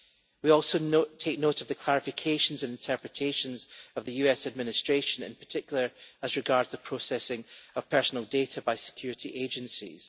We also take note of the clarifications and interpretations of the US Administration, in particular as regards the processing of personal data by security agencies.